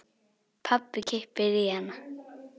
Pabbi kippir í hana.